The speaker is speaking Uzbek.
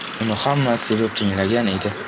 Uni hamma sevib tinglagan edi.